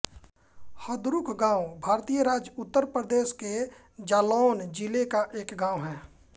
हदरुख गाँव भारतीय राज्य उत्तर प्रदेश के जालौन ज़िले का एक गाँव है